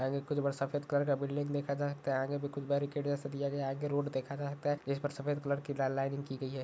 आगे कुछ बड़ा सफ़ेद कलर का बिल्डिंग देखा जा सकता है आगे भी कुछ बैरि॑केड्‌ जैसा दिया गया है आगे रोड देखा जा सकता है जिस पर सफ़ेद कलर की लाइनिंग की गयी है।